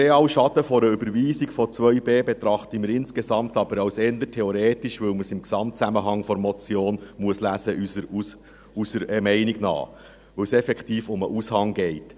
Den realen Schaden einer Überweisung von 2b betrachten wir insgesamt aber als eher theoretisch, da man dies unserer Meinung nach im Gesamtzusammenhang der Motion lesen muss, weil es effektiv um den Aushang geht.